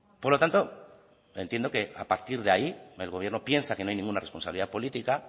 por lo tanto entiendo que a partir de ahí el gobierno piensa que no hay ninguna responsabilidad política